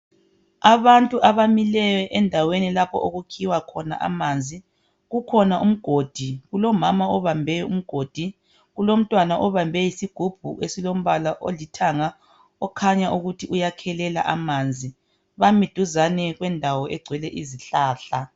Abantu abamileyo endaweni lapho okukhiwa khona amanzi kukhona umgodi kulomama obambe umgodi kulomntwana obambe isigubhu esilombala olithanga okhanya ukuthi uyakhelela amanzi bami duzane kwendawo egcwele izihlahla.